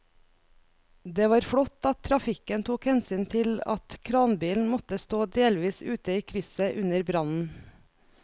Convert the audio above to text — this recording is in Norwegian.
Det var flott at trafikken tok hensyn til at kranbilen måtte stå delvis ute i krysset under brannen.